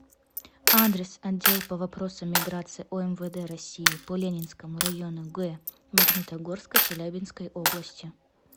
адрес отдел по вопросам миграции омвд россии по ленинскому району г магнитогорска челябинской области